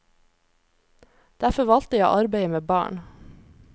Derfor valgte jeg å arbeide med barn.